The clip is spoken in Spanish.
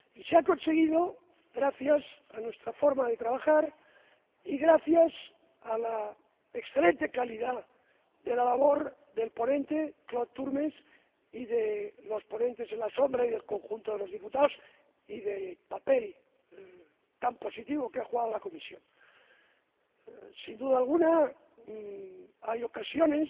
Y se ha conseguido gracias a nuestra forma de trabajar y gracias a la excelente calidad de la labor del ponente, Claude Turmes, y de los ponentes alternativos y del conjunto de los diputados y del papel tan positivo que ha desempeñado la Comisión. Sin duda alguna, hay ocasiones